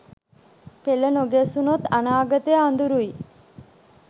පෙළ නොගැසුනොත් අනාගතය අඳුරුයි